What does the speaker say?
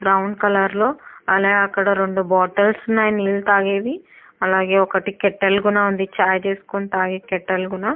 Brown colour లో అలాగే అక్కడ రెండు బాటిల్స్ ఉన్నాయి నీళ్ళు తాగేవి అలాగే ఒకటి కేటిల్ కూడా ఉంది చాయ్ చేసుకునే తాగే కేటిల్ కూడా.